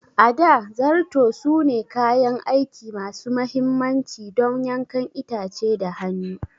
A da, Zarto sune kayan aiki masu mahimmanci don yankan itace da hannu.